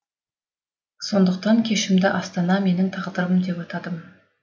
сондықтан кешімді астана менің тағдырым депатадым